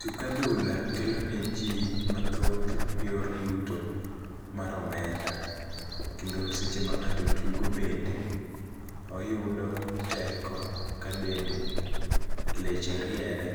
Tuk adhula kelo ne ji mathoth yor yuto mar omenda. Kendo seche ma ng'ato tugo bende, oyudo teko ka dende leche riere,